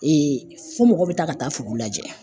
Eee fɔ mɔgɔ be taa ka taa fugu lajɛ